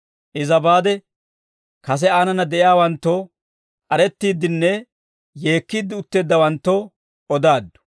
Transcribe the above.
Iza baade kase aanana de'iyaawanttoo, k'arettiiddinne yeekkiidde utteeddawanttoo odaaddu;